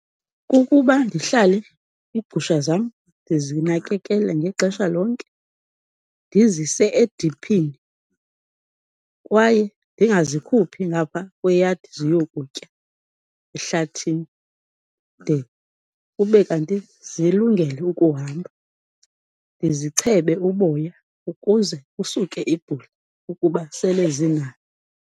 Kukuba ndihlale iigusha zam ndizinakekele ngexesha lonke, ndizise ediphini kwaye ndingazikhuphi ngapha kweyadi ziyokutya ehlathini, de kube kanti zilungele ukuhamba. Ndizichebe uboya ukuze kusuke ibhula ukuba sele zinalo.